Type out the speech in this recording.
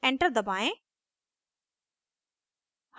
enter दबाएं